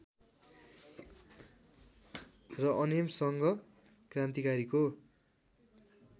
र अनेमसङ्घ क्रान्तिकारीको